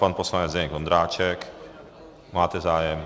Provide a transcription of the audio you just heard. Pan poslanec Zdeněk Ondráček - máte zájem?